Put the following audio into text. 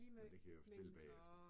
Men det kan jeg jo fortælle bagefter